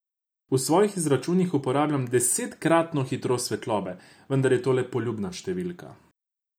V svojih izračunih uporabljam desetkratno hitrost svetlobe, vendar je to le poljubna številka.